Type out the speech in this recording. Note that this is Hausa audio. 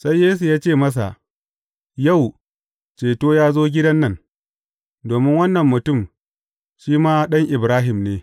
Sai Yesu ya ce masa, Yau, ceto ya zo gidan nan, domin wannan mutum shi ma ɗan Ibrahim ne.